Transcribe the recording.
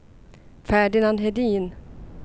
Ferdinand Hedin